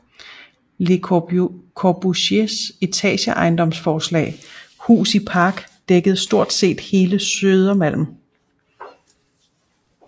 Le Corbusiers etageejendomsforslag Hus i Park dækkede stort set hele Södermalm